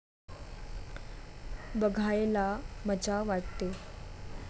बघायला मजा वाटते.